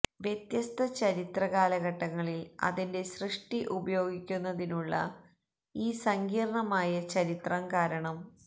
വ്യത്യസ്ത ചരിത്ര കാലഘട്ടങ്ങളിൽ അതിന്റെ സൃഷ്ടി ഉപയോഗിക്കുന്നതിനുള്ള ഈ സങ്കീർണ്ണമായ ചരിത്രം കാരണം